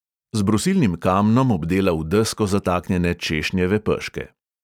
Z brusilnim kamnom obdela v desko zataknjene češnjeve peške.